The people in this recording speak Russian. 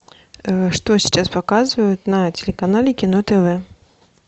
что сейчас показывают на телеканале кино тв